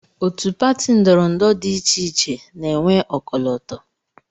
Otu pati ndọrọndọrọ dị iche iche na-enwe ọkọlọtọ